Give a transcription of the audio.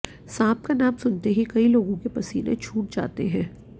सांप का नाम सुनते ही कई लोगों के पसीने छूट जाते हैं